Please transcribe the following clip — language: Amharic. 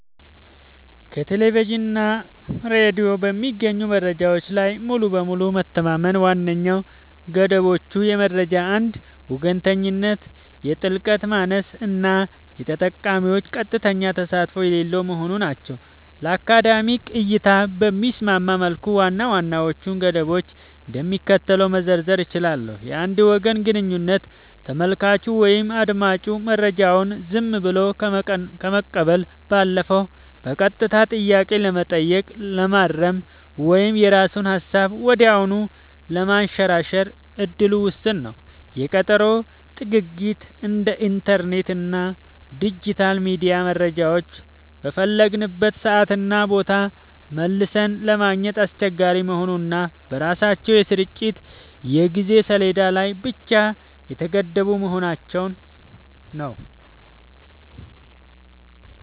ከቴሌቪዥን እና ሬዲዮ በሚገኙ መረጃዎች ላይ ሙሉ በሙሉ መተማመን ዋነኛ ገደቦቹ የመረጃ አንድ ወገንተኝነት፣ የጥልቀት ማነስ እና የተጠቃሚዎች ቀጥተኛ ተሳትፎ የሌለው መሆኑ ናቸው። ለአካዳሚክ እይታ በሚስማማ መልኩ ዋና ዋናዎቹን ገደቦች እንደሚከተለው መዘርዘር ይቻላል፦ የአንድ ወገን ግንኙነት : ተመልካቹ ወይም አዳማጩ መረጃውን ዝም ብሎ ከመቀበል ባለፈ በቀጥታ ጥያቄ ለመጠየቅ፣ ለማረም ወይም የራሱን ሃሳብ ወዲያውኑ ለማንሸራሸር እድሉ ውስን ነው። የቀጠሮ ጥግግት : እንደ ኢንተርኔት እና ዲጂታል ሚዲያ መረጃዎችን በፈለግንበት ሰዓትና ቦታ መልሰን ለማግኘት አስቸጋሪ መሆኑ እና በራሳቸው የስርጭት የጊዜ ሰሌዳ ላይ ብቻ የተገደቡ መሆናቸው።